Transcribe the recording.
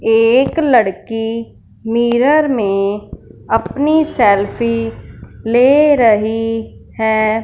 एक लड़की मिरर में अपनी सेल्फी ले रही है।